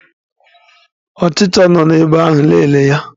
Ọchicha nọ n'ebe ahụ, lelee ya